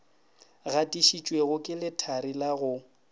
gatišitšwego ke lethari la go